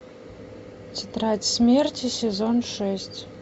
тетрадь смерти сезон шесть